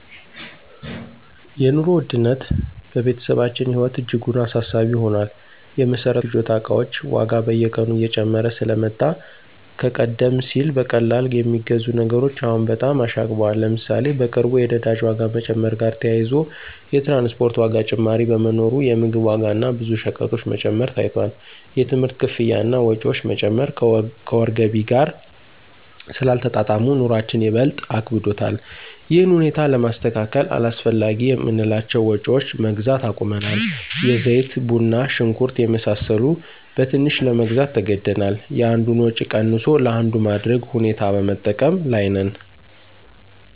የኑሮ ውድነት በቤተሰባችን ህይወት እጅጉን አሳሳቢ ሆኗል። የመሰረታዊ ፍጆታ እቃዎች ዋጋ በየቀኑ እየጨመረ ስለመጣ ከቀደም ሲል በቀላሉ የሚገዙ ነገሮች አሁን በጣም አሻቅበዋል። ለምሳሌ፣ በቅርቡ የነዳጅ ዋጋ መጨመር ጋር ተያይዞ የትራንስፖርት ዋጋ ጭማሪ በመኖሩ የምግብ ዋጋ እና ብዙ ሸቀጦች መጨመር ታይቷል። የትምህርት ክፍያ እና ወጪዎች መጨመር ከወር ገቢ ጋር ስላልተጣጣሙ፣ ኑሮአችን ይበልጥ አክብዶታል። ይህን ሁኔታ ለማስተካከል አላስፈላጊ የምንላቸውን ወጭዎች መግዛት አቁመናል። የዘይት፣ ቡና፣ ሽንኩርት የመሳሰሉ በትንሹ ለመግዛት ተገደናል። የአንዱን ወጭ ቀንሶ ለአንዱ ማድረግ ሁኔታ በመጠቀም ላይ ነን።